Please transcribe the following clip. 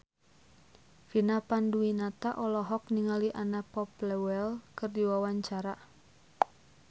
Vina Panduwinata olohok ningali Anna Popplewell keur diwawancara